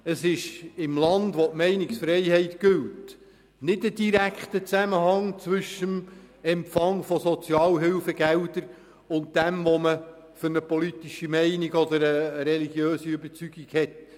In einem Land, in dem die Meinungsfreiheit gilt, besteht kein direkter Zusammenhang zwischen dem Empfang von Sozialhilfegeldern, der politischen Meinung und der religiösen Überzeugung.